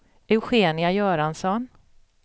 Eugenia Göransson